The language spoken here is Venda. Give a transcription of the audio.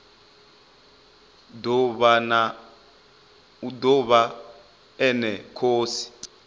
o ḓo vha ene khosi